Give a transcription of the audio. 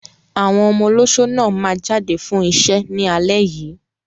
Àwọn ọmọ olóṣó náà máa jáde fún iṣẹ́ ní alẹ́ yìí.